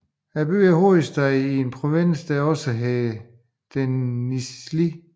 Byen er hovedstad i en provins der også hedder Denizli